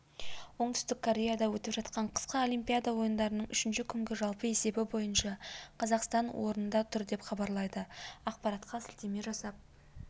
оңтүстік кореяда өтіп жатқан қысқы олимпиада ойындарының үшінші күнгі жалпы есебі бойынша қазақстан орында тұр деп хабарлайды ақпаратқа сілтеме жасап